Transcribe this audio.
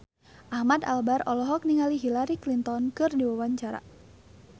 Ahmad Albar olohok ningali Hillary Clinton keur diwawancara